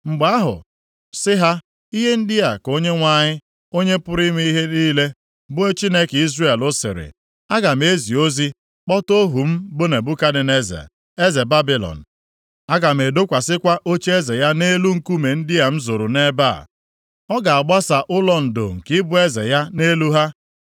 Mgbe ahụ sị ha, ‘Ihe ndị a ka Onyenwe anyị, Onye pụrụ ime ihe niile, bụ Chineke Izrel sịrị, Aga m ezi ozi kpọta ohu m bụ Nebukadneza, eze Babilọn. Aga m edokwasịkwa ocheeze ya nʼelu nkume ndị a m zoro nʼebe a, ọ ga-agbasa ụlọ ndo nke ịbụ eze ya nʼelu ha.